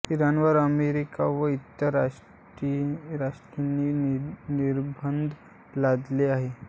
इराणवर America व इतर राष्ट्रांनी निर्बंध लादले आहेत